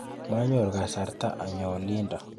Manyoru kasarta anyo olindo.